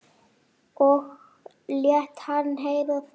Og lét hann heyra það.